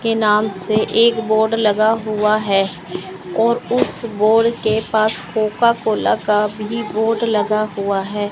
के नाम से एक बोर्ड लगा हुआ है और उस बोर्ड के पास कोका कोला का भी बोर्ड लगा हुआ है।